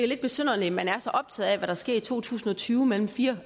lidt besynderligt at man er så optaget af hvad der sker i to tusind og tyve mellem fire